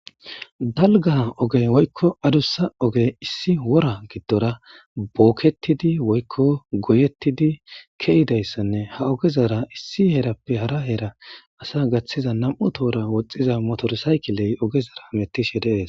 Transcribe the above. Dalgga ogey woykko adussa ogee issi wora giddora bookkeththidi woykko goyeththidi keyidayssanne ha ogezara issi herappe hara hera asa gaththiza nam7u tohoora woxxiza motorsaykiley ogezara hameththishe de7ees.